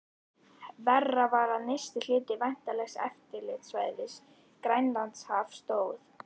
Verra var, að nyrsti hluti væntanlegs eftirlitssvæðis, Grænlandshaf, stóð